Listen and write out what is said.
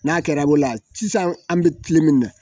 N'a kɛra bolo la sisan an bɛ min na